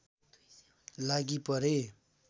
लागि परे